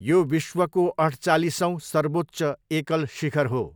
यो विश्वको अठचालिसौँ सर्वोच्च एकल शिखर हो।